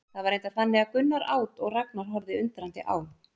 Það var reyndar þannig að Gunnar át og Ragnar horfði undrandi á.